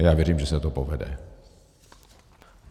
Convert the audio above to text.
A já věřím, že se to povede.